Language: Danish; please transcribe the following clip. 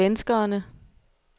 svenskerne